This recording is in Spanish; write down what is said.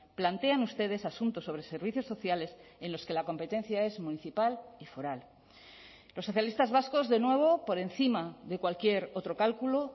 plantean ustedes asuntos sobre servicios sociales en los que la competencia es municipal y foral los socialistas vascos de nuevo por encima de cualquier otro cálculo